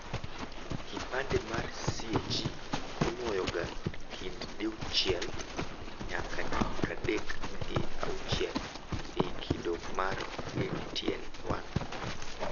Kipande mar CAG inuoyoga kind diuchiel nyaka dipradek gi auchiel ei kido mar ATN1.